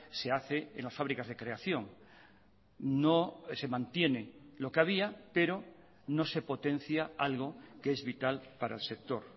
se hace en las fábricas de creación no se mantiene lo que había pero no se potencia algo que es vital para el sector